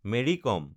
Marie কম